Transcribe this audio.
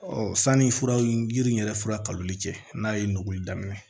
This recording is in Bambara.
sanni furaw yiri in yɛrɛ fura kaluli cɛ n'a ye nuguli daminɛ